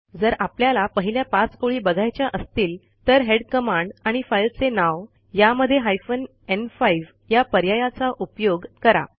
जर आपल्याला पहिल्या 5 ओळी बघायच्या असतील तर हेड कमांड आणि फाईलचे नाव यामध्ये हायफेन न्5 या पर्यायाचा उपयोग करा